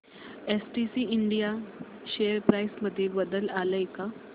STC India share price मध्ये बदल आलाय का